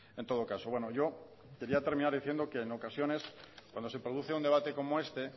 en todo caso bueno yo quería terminar diciendo que en ocasiones cuando se produce un debate como este